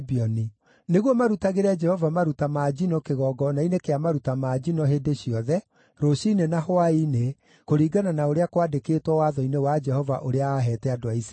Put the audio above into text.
nĩguo marutagĩre Jehova maruta ma njino kĩgongona-inĩ kĩa maruta ma njino hĩndĩ ciothe, rũciinĩ na hwaĩ-inĩ, kũringana na ũrĩa kwandĩkĩtwo watho-inĩ wa Jehova ũrĩa aaheete andũ a Isiraeli.